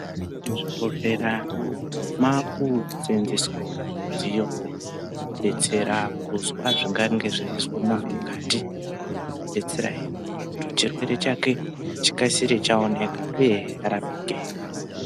Muzvibhedhlera maku seenzeswa wo midziyo yekudetsera kuzwa zvingange zveizwa munhu mukati, zvinodetsera hee kuti muntu chirwere chake chikasire chaoneka uyehe arapike.